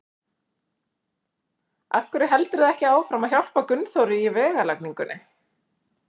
Af hverju heldurðu ekki áfram að hjálpa Gunnþóri í vegalagningunni?